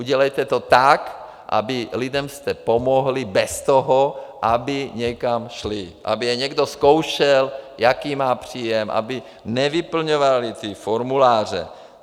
Udělejte to tak, aby lidem jste pomohli bez toho, aby někam šli, aby je někdo zkoušel, jaký má příjem, aby nevyplňovali ty formuláře.